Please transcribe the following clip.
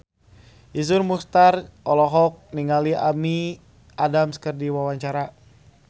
Iszur Muchtar olohok ningali Amy Adams keur diwawancara